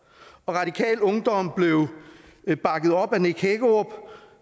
og radikal ungdom blev bakket op af nick hækkerup